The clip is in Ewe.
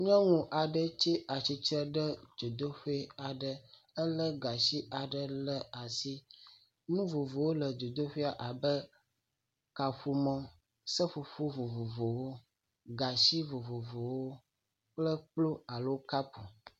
Nyɔnu aɖe tsi atsitre ɖe dzodoƒe aɖe, elé gatsi aɖe le asi, nu vovovowo le dzodoƒea abe kaƒomɔ, seƒoƒo vovovowo, gatsi vovovowo kple kplu alo kapu.